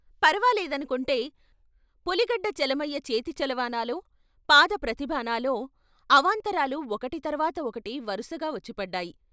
పరవాలేదనుకుంటే పులిగడ్డ చలమయ్య చేతి చలవ అనాలో, పాద ప్రతిభ అనాలో అవాంతరాలు ఒకటి తర్వాత ఒకటి వరసగా వచ్చిపడ్డాయి.